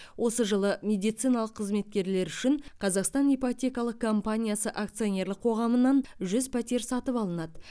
осы жылы медициналық қызметкерлер үшін қазақстан ипотекалық компаниясы акционерлік қоғамынан жүз пәтер сатып алынады